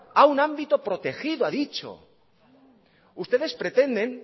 a un ámbito protegido ha dicho ustedes pretenden